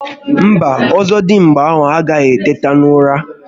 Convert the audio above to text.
Mba, Ọzọdimgba ahụ agaghi eteta n'ụra